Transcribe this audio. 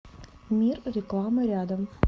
мир рекламы рядом